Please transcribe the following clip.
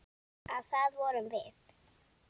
Og það vorum við.